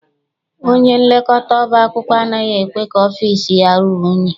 Onyenlekọta ọba akwụkwọ anaghị ekwe ka ọfịịsi ya ruo unyi.